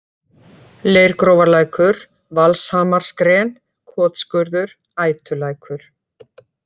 Leirgrófarlækur, Valshamarsgren, Kotskurður, Ætulækur